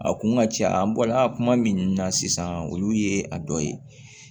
A kun ka ca an bɔla kuma min na sisan olu ye a dɔ ye